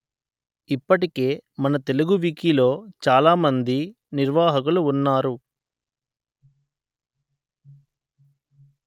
ఇప్పటికే మన తెలుగు వికీలో చాలా మంది నిర్వాహకులు ఉన్నారు